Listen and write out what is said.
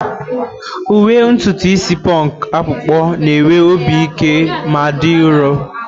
Uwe ntutu isi punk akpụkpọ na-enwe obi ike ma dị nro.